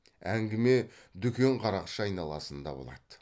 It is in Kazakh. әңгіме дүкен қарақшы айналасында болады